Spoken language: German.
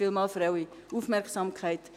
Vielen Dank für Ihre Aufmerksamkeit.